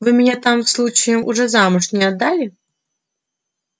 вы меня там случаем уже замуж не отдали